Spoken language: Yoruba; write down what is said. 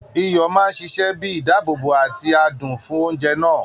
Iyọ̀ máa ṣiṣẹ bíi ìdáàbòbò àti adùn fún oúnjẹ náà.